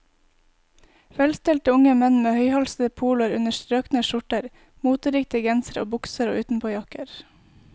Velstelte unge menn med høyhalsede poloer under strøkne skjorter, moteriktige gensere og bukser og utenpåjakker.